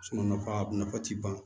ka nafa ti ban